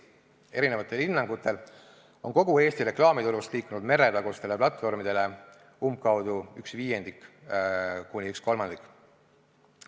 Eri hinnangutel on kogu Eesti reklaamitulust liikunud meretagustele platvormidele umbkaudu üks viiendik kuni üks kolmandik.